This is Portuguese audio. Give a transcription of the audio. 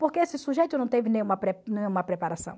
Porque esse sujeito não teve nenhuma pre nenhuma preparação.